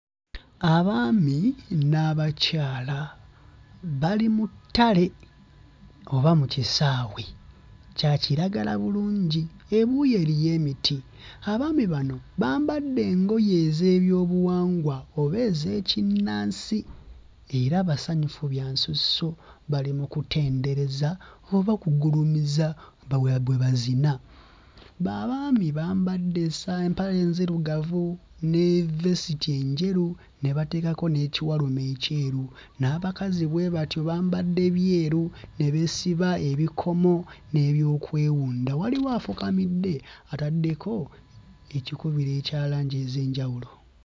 Abaami n'abakyala bali mu ttale oba mu kisaawe, kya kiragala bulungi, ebuuyi eriyo emiti. Abaami bano bambadde engoye ez'ebyobuwangwa oba ez'ekinnansi era basanyufu bya nsusso, bali mu kutendereza oba kugulumiza, bwe bazina. Abaami bambadde essa empale enzirugavu ne vesiti enjeru ne bateekako n'ekiwalume ekyeru; n'abakazi bwe batyo bambadde byeru ne beesiba ebikomo n'ebyokwewunda. Waliwo afukamidde ataddeko ekikubiro ekya langi ez'enjawulo.